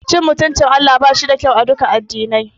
Cin mutuncin Allah bashi da kyau aduka addinai.